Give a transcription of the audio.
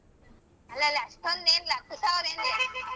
ಅಲ್ಲಲ್ಲ ಅಷ್ಟೊಂದ್ ಏನಿಲ್ಲ ಹತ್ತು ಸಾವ್ರ ಏನಿದೆ.